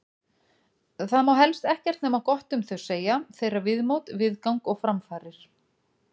Það má helst ekkert nema gott um þau segja, þeirra viðmót, viðgang og framfarir.